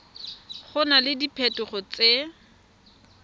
go na le diphetogo tse